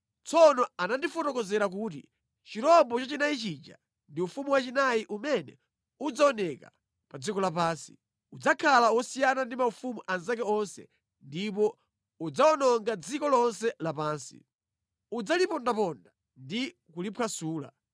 “Tsono anandifotokozera kuti, ‘Chirombo chachinayi chija ndi ufumu wachinayi umene udzaoneka pa dziko lapansi. Udzakhala wosiyana ndi maufumu anzake onse ndipo udzawononga dziko lonse lapansi. Udzalipondaponda ndi kuliphwasula.